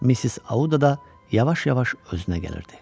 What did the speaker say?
Missis Audada yavaş-yavaş özünə gəlirdi.